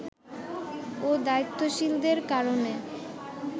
ও দায়িত্বশীলদের কারণে